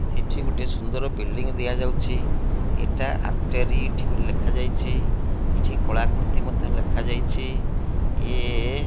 ଏଠି ଗୋଟିଏ ସୁନ୍ଦର ବିଲଡିଂ ଦିଆଯାଉଛି ଏଟା ଆର୍ଟେରିଠ ବୋଲି ଲେଖାଯାଇଚି ଏଠି କଳାକୃତି ମଧ୍ଯ ଲେଖାଯାଇଛି ଇଏ --